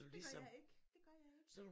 Det gør jeg ikke det gør jeg ikke